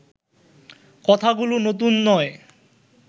কথাগুলো নতুন নয়